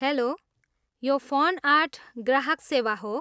Hello, यो fun art ग्राहक सेवा हो।